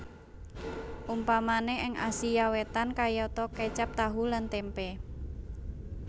Umpamané ing Asia Wétan kayata kécap tahu lan témpé